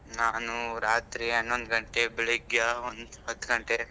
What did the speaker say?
ನಾನು ರಾತ್ರಿ ಹನ್ನೊಂದು ಗಂಟೆ ಬೆಳಿಗ್ಗೆ ಒಂದು ಹತ್ತು ಗಂಟೆ.